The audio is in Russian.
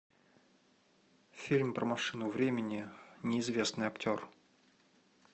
фильм про машину времени неизвестный актер